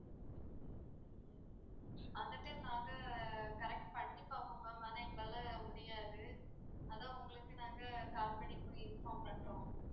அந்த time நாங்க correct பண்ணி பார்ப்போம் ma'am ஆனால் எங்களால முடியாது அதான் உங்களுக்கு நாங்க call பண்ணி இப்போ inform பண்றோம்.